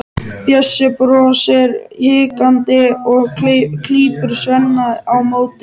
Bjössi brosir hikandi og klípur Svenna á móti.